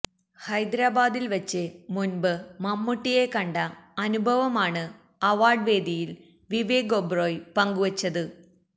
ഹൈദെരാബാദിൽ വച്ച് മുൻപ് മമ്മൂട്ടിയെ കണ്ട അനുഭവമാണ് അവർഡ് വേദിയിൽ വിവേക് ഒബ്റോയി പങ്കുവച്ചത്